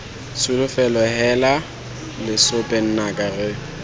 tsholofelo heela lesope nnaka re